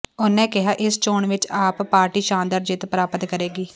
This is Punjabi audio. ਉਹਨਾਂ ਕਿਹਾ ਇਸ ਚੋਣ ਵਿੱਚ ਆਪ ਪਾਰਟੀ ਸ਼ਾਨਦਾਰ ਜਿੱਤ ਪ੍ਾਪਤ ਕਰੇਗੀ